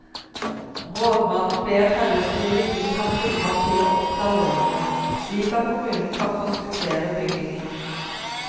Rådmannen ber herredsstyret gi ham fullmakt til å oppta lånene, slik at kommunen kan forskuttere byggingen.